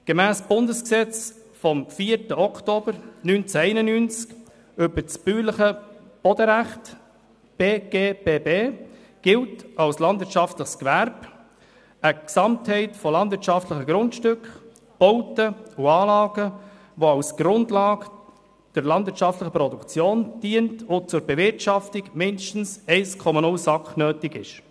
Gemäss Bundesgesetz über das bäuerliche Bodenrecht vom 4. Oktober 1991 (BGBB) gilt als landwirtschaftliches Gewerbe eine Gesamtheit von landwirtschaftlichen Grundstücken, Bauten und Anlagen, die als Grundlage der landwirtschaftlichen Produktion dient und zu deren Bewirtschaftung mindestens 1,0 SAK nötig ist.